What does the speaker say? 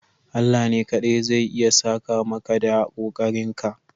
Allah ne kaɗai zai iya saka maka da kokarinka.